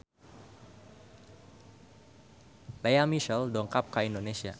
Lea Michele dongkap ka Indonesia